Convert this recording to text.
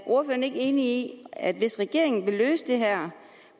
ordføreren ikke enig i at hvis regeringen vil løse det her